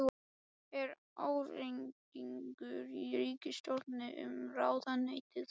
Er ágreiningur í ríkisstjórninni um ráðuneytið?